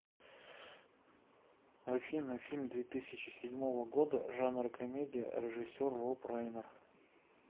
афина фильм две тысячи седьмого года жанр комедия режиссер роб райнер